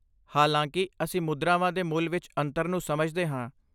ਹਾਲਾਂਕਿ, ਅਸੀਂ ਮੁਦਰਾਵਾਂ ਦੇ ਮੁੱਲ ਵਿੱਚ ਅੰਤਰ ਨੂੰ ਸਮਝਦੇ ਹਾਂ।